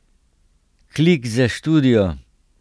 Klik za študijo.